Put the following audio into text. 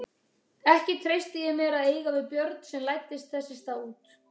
Ekki treysti ég mér að eiga við Björn en læddist þess í stað út.